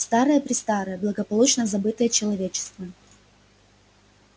старое-престарое благополучно забытое человечеством